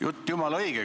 Jutt jumala õige.